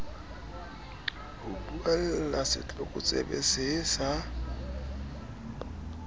ho buella setlokotsebe see sa